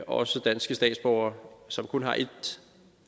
også danske statsborgere som kun har et